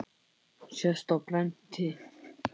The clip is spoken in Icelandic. sést á prenti.